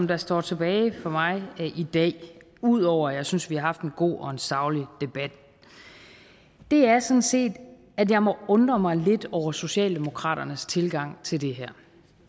der står tilbage for mig i dag ud over at jeg synes at vi har haft en god og en saglig debat er sådan set at jeg må undre mig lidt over socialdemokraternes tilgang til det her